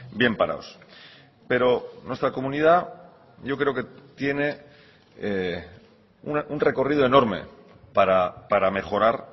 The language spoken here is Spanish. bien parados pero nuestra comunidad yo creo que tiene un recorrido enorme para mejorar